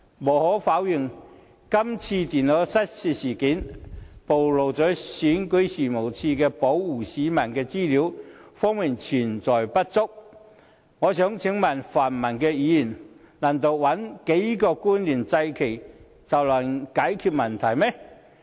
無可否認，這次電腦失竊事件暴露了選舉事務處在保護市民的資料方面存在不足，但我想請問泛民議員，難道找幾個官員來"祭旗"便能解決問題嗎？